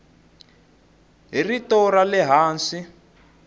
hi rito ra le hansi